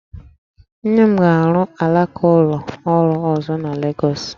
Nne m na-arụ alaka ụlọ ọrụ ọzọ na Legọs